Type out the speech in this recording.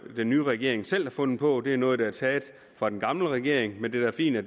den nye regering selv har fundet på det er noget der er taget fra den gamle regering men det er da fint at